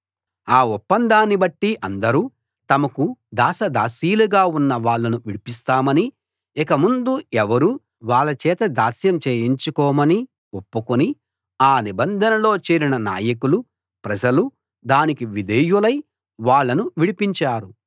ఆ ఒప్పందాన్నిబట్టి అందరూ తమకు దాసదాసీలుగా ఉన్న వాళ్ళను విడిపిస్తామనీ ఇకముందు ఎవరూ వాళ్ళచేత దాస్యం చేయించుకోమనీ ఒప్పుకుని ఆ నిబంధనలో చేరిన నాయకులు ప్రజలు దానికి విధేయులై వాళ్ళను విడిపించారు